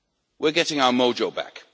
We are getting our mojo back!